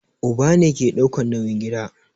Uba ne ke daukan nauyin gida